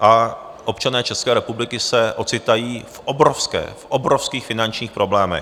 a občané České republiky se ocitají v obrovských finančních problémech.